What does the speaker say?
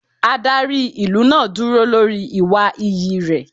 Adarí ìlú náà dúró lórí ìwà iyì rẹ̀.